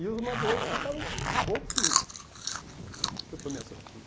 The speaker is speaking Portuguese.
E os madouros ficaram bobos comigo, aham, que eu tomei essa atitude.